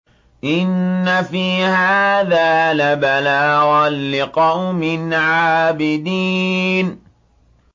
إِنَّ فِي هَٰذَا لَبَلَاغًا لِّقَوْمٍ عَابِدِينَ